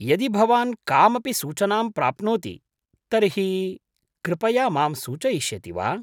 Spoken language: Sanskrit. यदि भवान् कामपि सूचनां प्राप्नोति तर्हि कृपया मां सूचयिष्यति वा?